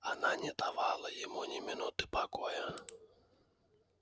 она не давала ему ни минуты покоя